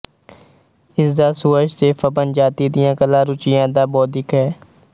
ਇਸ ਦਾ ਸੁਹਜ ਤੇ ਫਬਨ ਜਾਤੀ ਦੀਆਂ ਕਲਾ ਰੁਚੀਆਂ ਦਾ ਬੌਧਿਕ ਹੈ